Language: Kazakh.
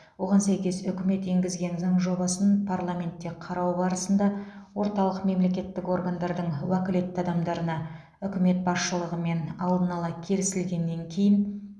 оған сәйкес үкімет енгізген заң жобасын парламентте қарау барысында орталық мемлекеттік органдардың уәкілетті адамдарына үкімет басшылығымен алдын ала келісілгеннен кейін